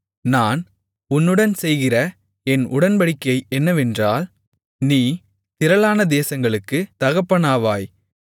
நான் உன்னுடன் செய்கிற என் உடன்படிக்கை என்னவென்றால் நீ திரளான தேசங்களுக்குத் தகப்பனாவாய்